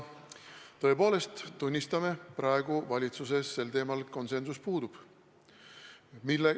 Tõepoolest, tunnistame, et praegu valitsuses sel teemal konsensus puudub.